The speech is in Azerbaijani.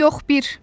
Yox bir.